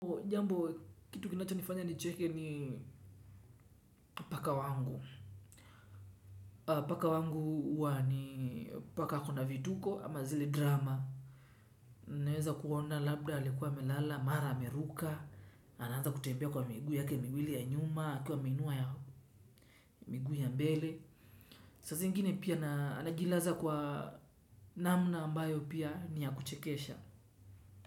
Jambo kitu kinachinifanya nicheke ni paka wangu. Paka wangu huwa ni paka ako na vituko ama zile drama. Naweza kuona labda alikuwa amelala, mara ameruka. Anaanza kutembea kwa miguu yake miwili ya nyuma, akiwa ameinua ya miguu ya mbele. Saa zingine pia anajilaza kwa namna ambayo pia ni ya kuchekesha.